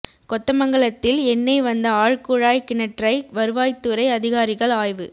கொத்தமங்கலத்தில் எண்ணெய் வந்த ஆழ்குழாய் கிணற்றை வருவாய்துறை அதிகாரிகள் ஆய்வு